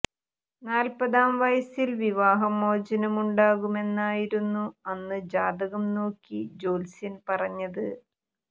നാൽപതാം വയസിൽ വിവാഹമോചനമുണ്ടാകുമെന്നായിരുന്നു അന്ന് ജാതകം നോക്കി ജ്യോത്സ്യൻ പറഞ്ഞത്